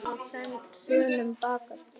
Guðbjörg gamla er á þönum bakatil.